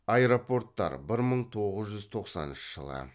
аэропорттар бір мың тоғыз жүз тоқсаныншы жылы